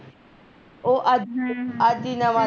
ਉਹ ਅੱਜ ਈ ਹਮ ਹਮ ਨਵਾਂ ਗਾ